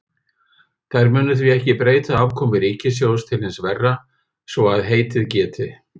Þær munu því ekki breyta afkomu ríkissjóðs til hins verra, svo að heitið geti.